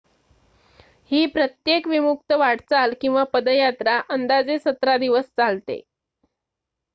ही प्रत्येक विमुक्त वाटचाल किंवा पदयात्रा अंदाजे 17 दिवस चालते